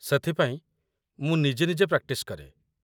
ସେଥିପାଇଁ, ମୁଁ ନିଜେ ନିଜେ ପ୍ରାକ୍ଟିସ୍ କରେ ।